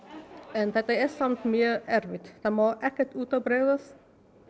en þetta er samt mjög erfitt það má ekkert út af bregða